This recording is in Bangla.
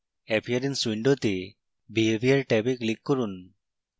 appearance window behavior ট্যাবে click করুন